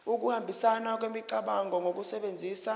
ukuhambisana kwemicabango ngokusebenzisa